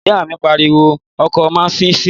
Ìyá mi pariwo wọ ọkọ̀ náà nísìínyi!